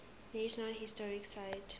national historic site